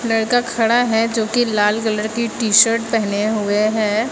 लड़का खड़ा है जो कि लाल कलर की टी शर्ट पहने हुए है।